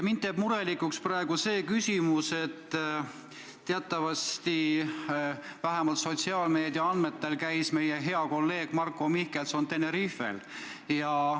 Mind teeb murelikuks praegu see, et vähemalt sotsiaalmeedia andmetel käis meie hea kolleeg Marko Mihkelson teatavasti Tenerifel.